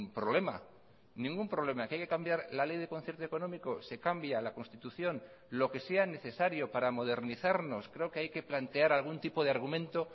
problema ningún problema que hay que cambiar la ley de concierto económico se cambia la constitución lo que sea necesario para modernizarnos creo que hay que plantear algún tipo de argumento